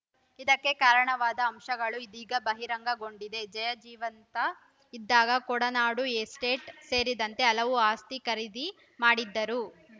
ಇದಕ್ಕೆ ಕಾರಣವಾದ ಅಂಶಗಳು ಇದೀಗ ಬಹಿರಂಗಗೊಂಡಿದೆ ಜಯಾ ಜೀವಂತ ಇದ್ದಾಗ ಕೊಡನಾಡು ಎಸ್ಟೇಟ್‌ ಸೇರಿದಂತೆ ಹಲವು ಆಸ್ತಿ ಖರೀದಿ ಮಾಡಿದ್ದರು